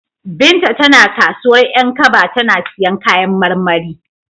Binta tana kasuwar 'Yankaba tana siyan kayan marmari.